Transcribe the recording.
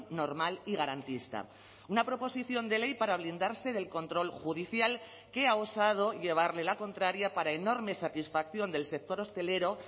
normal y garantista una proposición de ley para blindarse del control judicial que ha osado llevarle la contraria para enorme satisfacción del sector hostelero